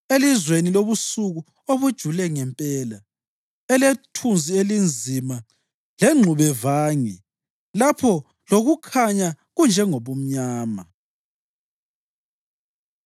elizweni lobusuku obujule ngempela, elethunzi elinzima lengxubevange, lapho lokukhanya kunjengobumnyama.”